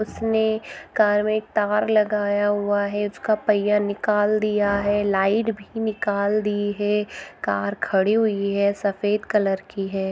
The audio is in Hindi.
उसने कार में तवर लगाया हुआ है उसका पहिया निकाल दिया है । लाइट भी निकाल दी है । कार खड़ी हुई है सफेद कलर की है ।